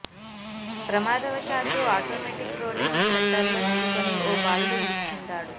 ప్రమాదవశాత్తు automatic rolling షట్టర్లో చిక్కుకొని ఓ బాలుడు మృతి చెందాడు